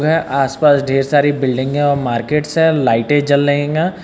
आस पास ढेर सारी बिल्डिंगें और मार्केट्स है और लाइटे जल रहींगा।